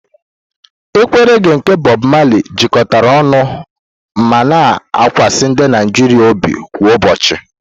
Ekwe reghé nke Bob Marley jikọtara ọnụ ma na-akasi ndị Naijiria obi kwa ụbọchị.